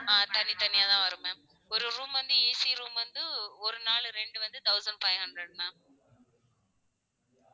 ஆஹ் தனி தனியாதா வரும் ma'am ஒரு room வந்த AC room வந்து ஒரு நாள் ரெண்டு வந்து thousand five hundred ma'am